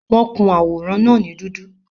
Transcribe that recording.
Wọ́n kun àwòrán náà ní dúdú